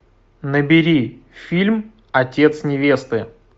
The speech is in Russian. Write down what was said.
набери фильм отец невесты